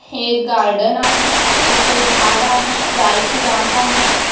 हे गार्डन आहे इथ जाड आहे जाईची वांटा है|